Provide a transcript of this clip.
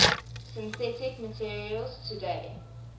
synthetic materials today